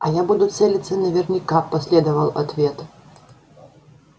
а я буду целиться наверняка последовал ответ